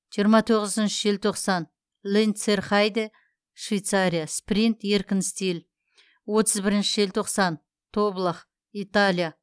жиырма тоғызыншы желтоқсан ленцерхайде швейцария спринт еркін стиль отыз бірінші желтоқсан тоблах италия